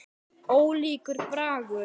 Ólíkur bragur.